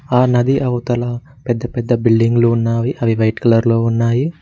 ఆ నది అవతల పెద్ద పెద్ద బిల్డింగ్లు ఉన్నావి అవి వైట్ కలర్ లో ఉన్నాయి.